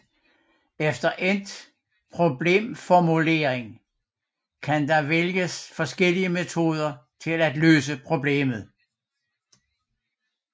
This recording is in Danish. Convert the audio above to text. Efter endt problemformulering kan der vælges forskellige metoder til at løse problemet